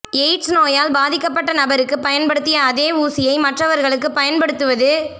AIDS நோயால் பாதிக்கப்பட்ட நபருக்கு பயன்படுத்திய அதே ஊசியை மற்றவர்களுக்கு பயன்படுத்துவது